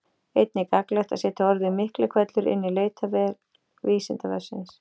Einnig er gagnlegt að setja orðið Miklihvellur inn í leitarvél Vísindavefsins.